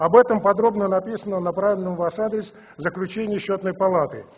об этом подробно написано на правильном ваш адрес заключение счётной палаты